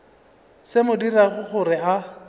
se mo dirago gore a